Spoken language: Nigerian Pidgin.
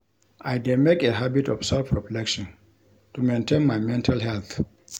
I dey make a habit of self-reflection to maintain my mental health.